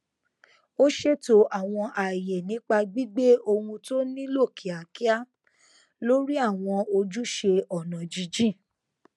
ó ṣètò àwọn ààyè nípa gbígbé ohun tó nílò kíákíá lórí àwọn ojúṣe ọnà jínjìn